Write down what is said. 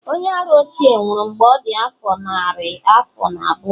onye-ara ochie nwuru mgbe ọ dị afọ narị afọ na abụọ